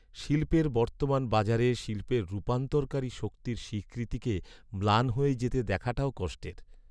শিল্পের বর্তমান বাজারে শিল্পের রূপান্তরকারী শক্তির স্বীকৃতিকে ম্লান হয়ে যেতে দেখাটাও কষ্টের।